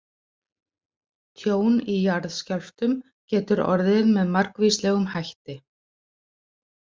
Tjón í jarðskjálftum getur orðið með margvíslegum hætti.